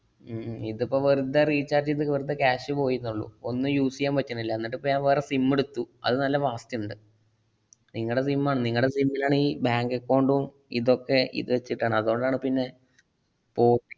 ഹും ഹും ഇതിപ്പൊ വെറുതെ recharge ചെയ്ത് വെറുതെ cash പോയീന്നേള്ളു. ഒന്നും use ചെയ്യാൻ പറ്റണില്ല. എന്നിട്ടിപ്പോ ഞാൻ വേറെ SIM ഇടുത്തു. അത് നല്ല fast ഇണ്ട്. നിങ്ങടെ SIM ആണ് നിങ്ങടെ SIM ഇലാണ് ഈ bank account ഉം ഇതൊക്കെ ഇതച്ചിട്ടാണ്. അതുകൊണ്ടാണ് പിന്നെ ഫോ~